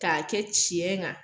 Ka kɛ tiɲɛ kan.